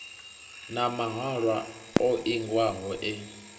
na mahalwa o ingiwaho e